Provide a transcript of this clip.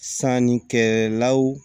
Sanni kɛlaw